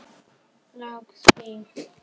Lauk því.